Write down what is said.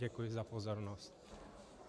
Děkuji za pozornost.